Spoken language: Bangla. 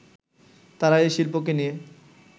তারা এ শিল্পকে নিয়ে